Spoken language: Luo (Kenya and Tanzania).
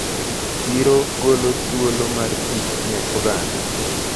Chiro golo thuolo mar tich ne oganda.